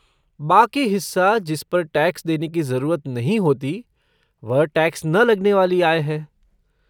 बाकी हिस्सा जिस पर टैक्स देने की जरूरत नहीं होती, वह टैक्स न लगने वाली आय है।